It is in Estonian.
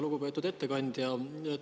Lugupeetud ettekandja!